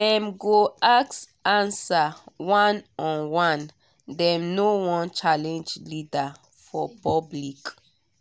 dem go ask answer one on one dem no wan challenge leader for public